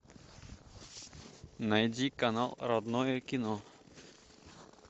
найди канал родное кино